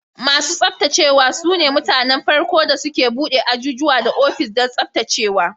Masu tsaftacewa su ne mutanen farko da suka bude ajujuwa da ofis don tsaftacewa.